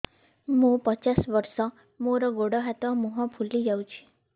ମୁ ପଚାଶ ବର୍ଷ ମୋର ଗୋଡ ହାତ ମୁହଁ ଫୁଲି ଯାଉଛି